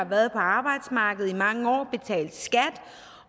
været på arbejdsmarkedet i mange år